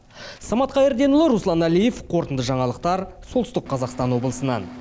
самат қайырденұлы руслан әлиев қорытынды жаңалықтар солтүстік қазақстан облысынан